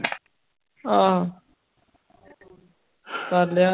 ਆਹੋ ਕਰ ਲਿਆ